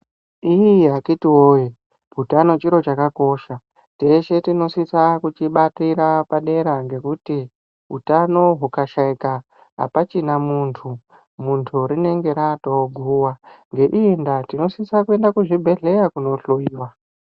Iii akhiti woye, utano chiro chakakosha. Teshe tinosisa kuchibatira padera ngekuti utano hukashaika apachina muntu. Muntu rinenge ratoguwa, ngeiyi ndaa tinosisa kuenda kuzvibhedhleya kundohlowiwa.